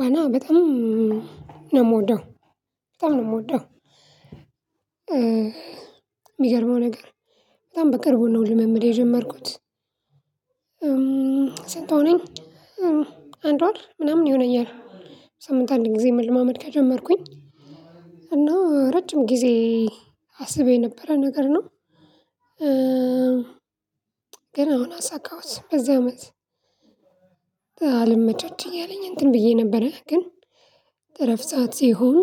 ዋና በጣም ነው የምወደው በጣም ነው የምወደው የሚገርመው ነገር በጣም በቅርቡ ነው ልምምድ የጀመርኩት። ስንት ሆነኝ አንድ ወር ምናምን ይሆነኛል። ሳምንት አንድ ጊዜ መልማመድ ከጀመርኩኝ እና ረጅም ጊዜ አስቤ ነበረ ነገር ነው። ግን አሁን አሳካውት በዚህ አመት አልምቻች እያለኝ እንትን ብዬ ነበረ ግን ረፍት ሰዓት ሲሆን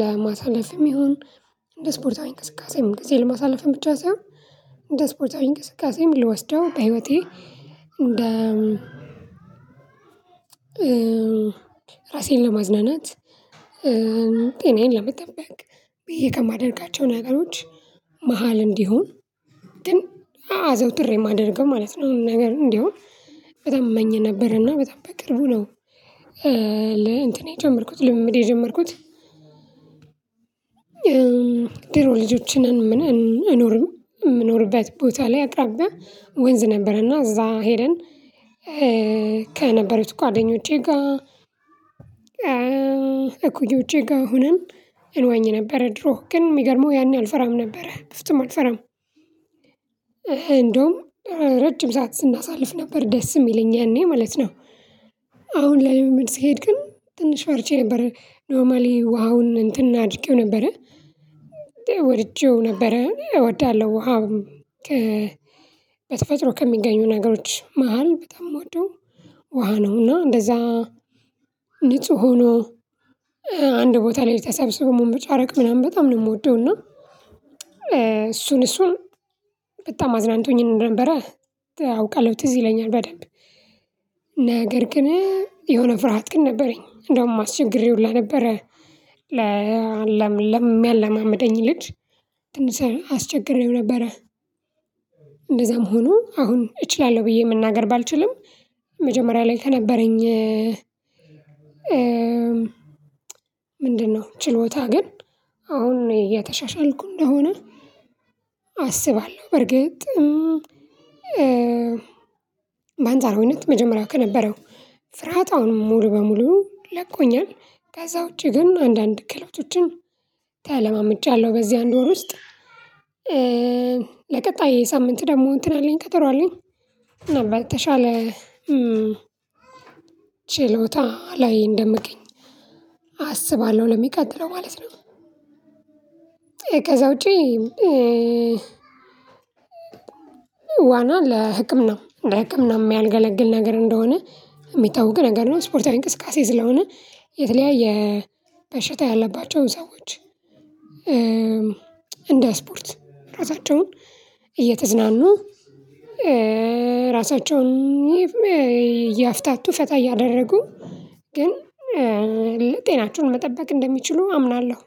ለማሳለፍም ይሁን እንደ ስፖርታዊ ቅስቀሴም ጊዜ ለማሳለፍም ብቻ ሳይሆን እንደ ስፖርታዊ እንቅስቃሴ ምን ልወስደው በህይወቴ እንደ ራሴን ለማዝናናት ጤናዬን ለመጠበቅ ብዬ ከማደርጋቸው ነገሮች መሃል እንዲሆን አዘውትሬ የማደርገው ማለት ነው። አሁን ነገር እንዲሆን በጣም እመኝ ነበር እና በጣም በቅርቡ ነው ለ እንትን የጀመርኩት ልምምድ የጀመርኩት። ድሮ ልጆችን እንኖርባት የምኖርበት ቦታ ላይ አቅራቢያ ወንዝ ነበረና እዛ ሄደን ከነበሩት ጓደኞቼ ጋር እኮ የውጪ ጋር ሆነን እንወኝ ነበር ድሮ ግን የሚገርመው ያኔ አልፈራም ነበረ በፍጹም አልፈራም። እንደውም ረጅም ሰዓት ስናሳልፍ ነበር ደስ የሚለኝ ያኔ ማለት ነው። አሁን ላይ ምን ስሄድ ግን ትንሽ ፈርቼ ነበር ኖርማሊ ውሃውን እንትን አድርጌው ነበረ። ወድጄው ነበረ እወዳለሁ ውሃ አሁንም በተፈጥሮ ከሚገኙ ነገሮች መሃል በጣም የምወደው ውሃ ነው። እና እንደዛ ንጹህ ሆኖ አንድ ቦታ ላይ ልተሰብስበው መምጣት ምናምን በጣም ነው የምወደው እና እሱን እሱን በጣም አዝናንቶኝ ነበረ። አውቃለሁ ትዝ ይለኛል በደንብ ነገር ግን የሆነ ፍርሃት ግን ነበረኝ እንደውም አስቸገሬ ሁላ ነበረ። ለነበረ ለለም የሚያላማምደኝ ልጅ ትንሽ አስቸግሬው ነበረ። እንደዛም ሆኖ አሁን እችላለሁ ብዬ መናገር ባልችልም መጀመሪያ ላይ ከነበረኝ ምንድነው ችሎታ ግን አሁን እየተሻሻልኩ እንደሆነ አስባለሁ። በርግጥ በአንጻሩ ሁኔታ መጀመሪያው ከነበረው ፍርሃት አሁን ሙሉ በሙሉ ለቆኛል። ከዛ ውጪ ግን አንዳንድ ክህሎቶችን ተለማምጃለሁ በዚህ አንድ ወር ውስጥ ለቀጣይ ሳምንት ደግሞ እንትን አለኝ ቀጠሮ አለኝ በተሻለ ችሎታ ላይ እንደምገኝ አስባለሁ። ለሚቀጥለው ማለት ነው ከዛ ውጪ ዋና ለህቅም ነው ለህቅም ህቅም ነው የሚያንገለግል ነገር እንደሆነ የሚታወቅ ነገር ነው። ስፖርታዊ እንቅስቃሴ ስለሆነ የተለያየ በሽታ ያለባቸውን ሰዎች እንደ ስፖርት ራሳቸውን እየተዝናኑ ራሳቸውን እያፍታቱ ፈታ እያደረጉ ግን ለጤናቸው መጠበቅ እንደሚችሉ አምናለሁ